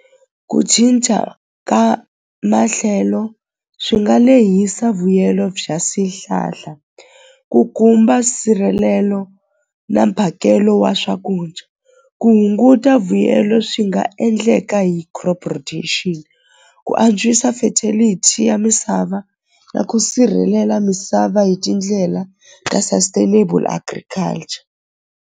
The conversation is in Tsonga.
Ku cinca ka mahlelo swi nga lehisa vuyelo bya swihlahla ku khumba nsirhelelo na mphakelo wa swakudya ku hunguta vuyelo swi nga endleka hi crop production ku antswisa fertility ya misava na ku sirhelela misava hi tindlela ta sustainable agriculture.